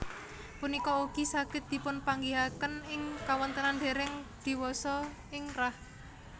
Punika ugi saged dipunpanggihaken ing kawontenan dèrèng diwasa ing rah